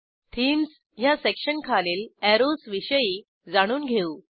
themes ह्या section खालील arrows विषयी जाणून घेऊ